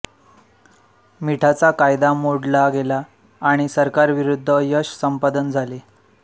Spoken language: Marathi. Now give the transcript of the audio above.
मिठाचा कायदा मोडला गेला आणि सरकारविरूद्ध यश संपादन झाले